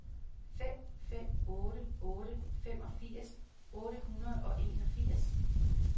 fem fem otte otte femogfirs otte hundrede og enogfirs